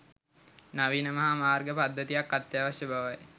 නවීන මහා මාර්ග පද්ධතියක් අත්‍යවශ්‍ය බවයි